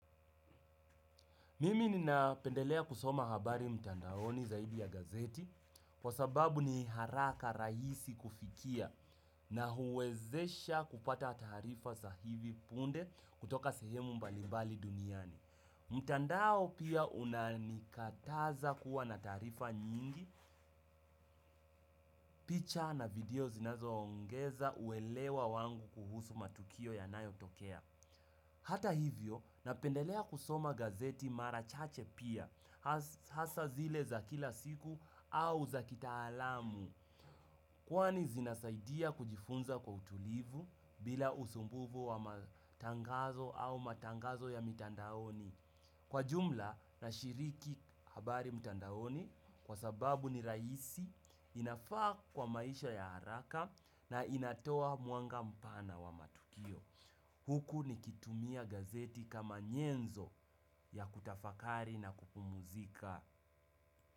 Mimi nina pendelea kusoma habari mtandaoni zaidi ya gazeti kwa sababu ni haraka rahisi kufikia na huwezesha kupata tarifa za hivi punde kutoka sehemu mbalibali duniani. Mtandao pia unanikataza kuwa na tarifa nyingi, picha na video zinazo ongeza uelewa wangu kuhusu matukio yanayotokea. Hata hivyo, napendelea kusoma gazeti mara chache pia, hasa zile za kila siku au za kitaalamu. Kwani zinasaidia kujifunza kwa utulivu bila usumbufu wa matangazo au matangazo ya mitandaoni. Kwa jumla nashiriki habari mitandaoni, kwa sababu ni rahisi, inafaa kwa maisha ya haraka na inatoa mwanga mpana wa matukio. Huku ni kitumia gazeti kama nyenzo ya kutafakari na kupumuzika.